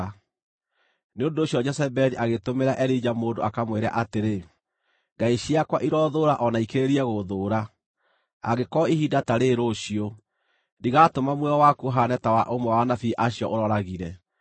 Nĩ ũndũ ũcio Jezebeli agĩtũmĩra Elija mũndũ akamwĩre atĩrĩ, “Ngai ciakwa iroothũũra o na ikĩrĩrĩrie gũthũũra, angĩkorwo ihinda ta rĩrĩ rũciũ, ndigatũma muoyo waku ũhaane ta wa ũmwe wa anabii acio ũrooragire.”